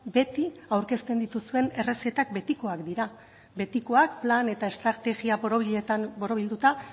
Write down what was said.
beti aurkezten dituzuen errezetak betikoak dira betikoak plan eta estrategia borobiletan borobilduta